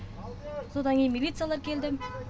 содан кейін милициялар келді